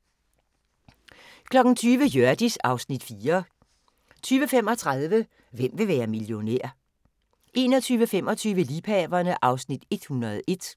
20:00: Hjørdis (Afs. 4) 20:35: Hvem vil være millionær? 21:25: Liebhaverne (Afs. 101)